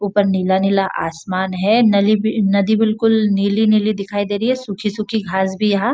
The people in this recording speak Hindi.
ऊपर नीला नीला आसमान है नली नदी बिलकुल नीली नीली दिखाई दे रही है सुखी सुखी घास भी यहाँ --